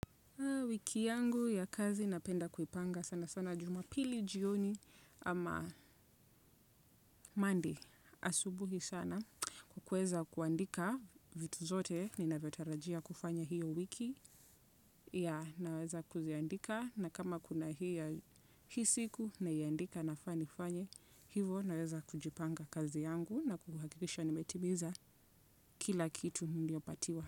Wiki yangu ya kazi napenda kuipanga sana sana jumapili jioni. Ama Monday asubuhi sana. Kuweza kuandika vitu zote ninavyotarajia kufanya hiyo wiki yeah, naweza kuziandika na kama kuna hii ya hii siku naiandika nafaa nifanye hivo naweza kujipanga kazi yangu na kuhakikisha nimetimiza kila kitu niliopatiwa.